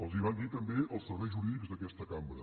els ho van dir també els serveis jurídics d’aquesta cambra